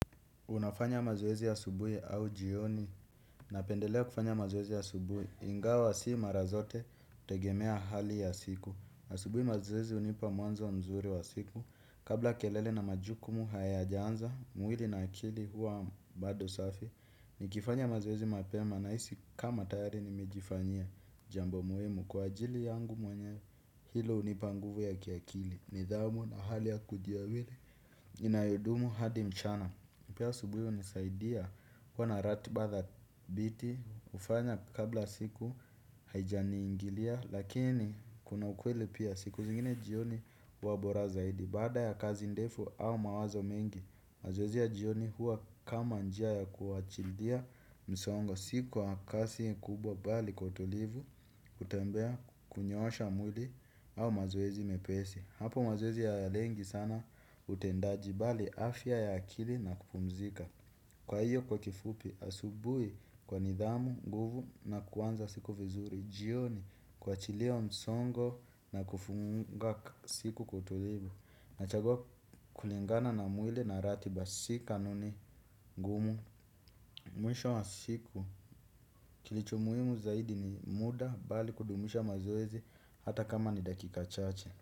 Unafanya mazoezi asubuhi au jioni napendelea kufanya mazoezi asubuhi. Ingawa si mara zote hutegemea hali ya siku asubuhi mazoezi hunipa mwanzo mzuri wa siku kabla kelele na majukumu hayajaanza, mwili na akili huwa bado safi nikifanya mazoezi mapema nahisi kama tayari nimejifanyia jambo muhimu kwa ajili yangu mwenyewe hilo hunipa nguvu ya kiakili, nidhamu na hali ya kujiamini inayodumu hadi mchana. Pia asubuhi hunisaidia kuwa na ratiba dhabiti hufanya kabla siku haijaniingilia. Lakini kuna ukweli pia siku zingine jioni huwa bora zaidi. Baada ya kazi ndefu au mawazo mengi. Mazoezi ya jioni huwa kama njia ya kuachilia msongo si kwa kasi kubwa bali kwa utulivu. Kutembea kunyoosha mwili au mazoezi mepesi. Hapo mazoezi hayalengi sana utendaji bali afya ya akili na kupumzika. Kwa hiyo kwa kifupi asubuhi kwa nidhamu, nguvu na kuanza siku vizuri. Jioni kuachilia msongo na kufunga siku kwa utulivu. Nachagua kulingana na mwili na ratiba si kanuni ngumu. Mwisho wa siku kilicho muhimu zaidi ni muda bali kudumisha mazoezi hata kama ni dakika chache.